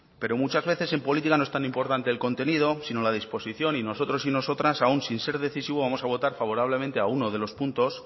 pero muchas veces en política no es tan importante el contenido sino la disposición y nosotros y nosotras aun sin ser decisivos vamos a votar favorablemente a uno de los puntos